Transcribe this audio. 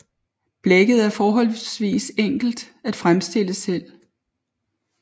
Blækket er forholdsvist enkelt at fremstille selv